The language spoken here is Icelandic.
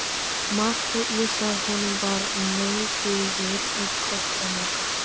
Marteinn vissi að honum var nauðugur einn kostur að moka.